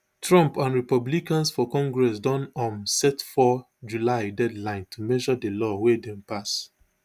trump and republicans for congress don um set four july deadline to measure di law wia dem pass